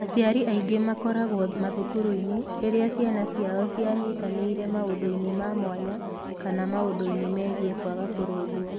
Aciari angĩ makoragwo mathukuru-inĩ rĩrĩa ciana ciao cianyitanĩire maũndũ-inĩ ma mwanya kana maũndũ-inĩ megiĩ kwaga kũrũngwo.